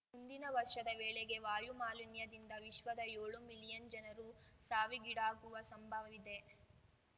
ಮುಂದಿನ ವರ್ಷದ ವೇಳೆಗೆ ವಾಯು ಮಾಲಿನ್ಯದಿಂದ ವಿಶ್ವದ ಯೋಳು ಮಿಲಿಯನ್ ಜನರು ಸಾವಿಗೀಡಾಗುವ ಸಂಭವವಿದೆ